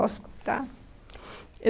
Posso contar?